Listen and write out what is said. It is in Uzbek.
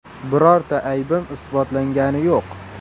Birorta aybim isbotlangani yo‘q.